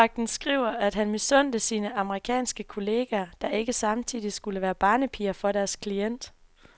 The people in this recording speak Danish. Livvagten skriver, at han misundte sine amerikanske kolleger, der ikke samtidig skulle være barnepiger for deres klient.